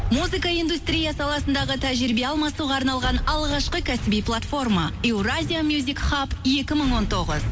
музыка индустрия саласындағы тәжірибе алмасуға арналған алғашқы кәсіби платформа еуразия мюзик хаб екі мың он тоғыз